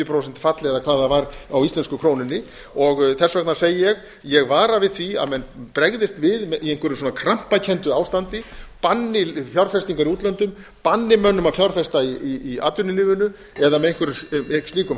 prósent fall eða hvað það var á íslensku krónunni þess vegna segi ég ég vara við því að menn bregðist við í einhverju krampakenndu ástandi banni fjárfestingar í útlöndum banni mönnum að fjárfesta í atvinnulífinu eða með einhverjum slíkum